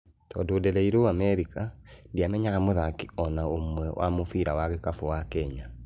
Tondũ ndereiruo Amerika, ndĩamenyaga mũthaki ona ũmwe wa mũbira wa gĩkabũ wa Kenya.